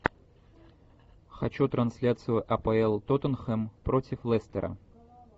хочу трансляцию апл тоттенхэм против лестера